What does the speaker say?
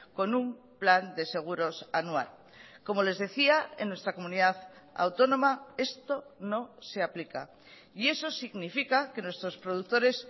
con un plan de seguros anual como les decía en nuestra comunidad autónoma esto no se aplica y eso significa que nuestros productores